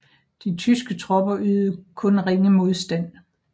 De tyske tropper ydede kun ringe modstand